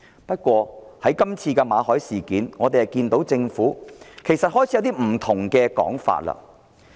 不過，在馬凱事件上，政府已開始出現不同的說法。